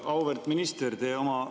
Auväärt minister!